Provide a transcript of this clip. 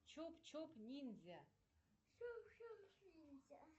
чоп чоп ниндзя